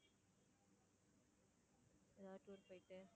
எதாவது tour போயிட்டு